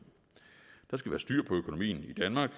der skal være styr på økonomien i danmark